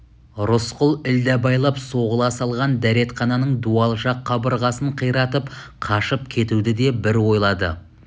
рысқұл ілдәбайлап соғыла салған дәретхананың дуал жақ қабырғасын қиратып қашып кетуді де бір ойлады